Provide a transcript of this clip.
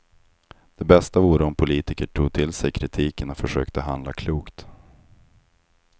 Det bästa vore om politiker tog till sig kritiken och försökte handla klokt.